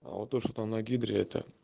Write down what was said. а вот то что там на гидре это